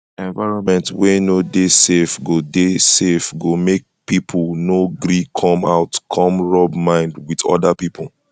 environment wey no de safe go de safe go make pipo no gree come out come rub mind with oda pipo